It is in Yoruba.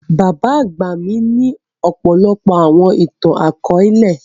Bábà àgba mi ni ọ̀pọlọpọ̀ àwọn ìtan-àkọọlẹ.